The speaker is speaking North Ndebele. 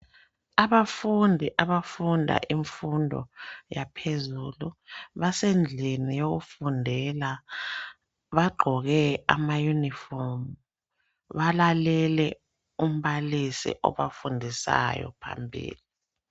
Abafundi abafunda imfundo yaphezulu, basendlini yokufundela bagqoke ama uniform balalele umbalisi obafundisayo phambili.